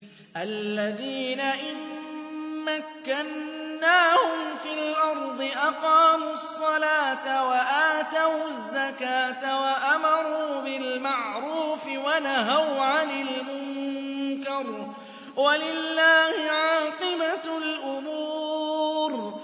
الَّذِينَ إِن مَّكَّنَّاهُمْ فِي الْأَرْضِ أَقَامُوا الصَّلَاةَ وَآتَوُا الزَّكَاةَ وَأَمَرُوا بِالْمَعْرُوفِ وَنَهَوْا عَنِ الْمُنكَرِ ۗ وَلِلَّهِ عَاقِبَةُ الْأُمُورِ